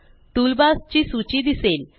toolbars ची सूची दिसेल